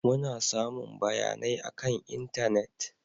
Muna samun bayanai akan intanet.